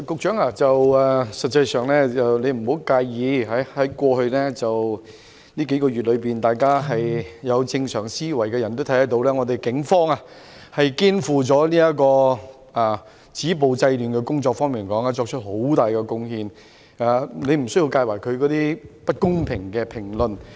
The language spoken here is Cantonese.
主席，局長你別介意，在過去幾個月，任何有正常思維的人均能看到警方在止暴制亂方面，作出了很大貢獻，你無須介懷外間不公平的評論。